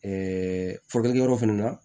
furakɛlikɛyɔrɔ fana na